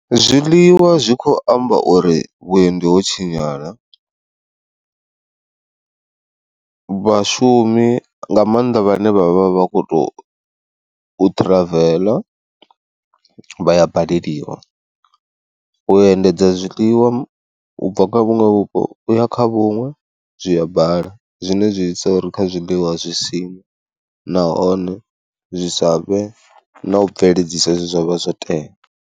Zwiḽiwa zwi kho amba uri vhuendi ho tshinyala vhashumi nga maanḓa vhane vhavha vha khou tou ṱhiraveḽa vha ya baleliwa, u endedza zwiḽiwa ubva kha vhuṅwe vhupo uya kha vhuṅwe zwi a bala zwine zwi isa uri kha zwiḽiwa zwi sine nahone zwi sa vhe na u bveledzisa hezwi zwa vha zwo tea.